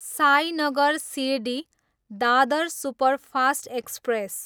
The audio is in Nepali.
Sainagar Shirdi, Dadar superfast express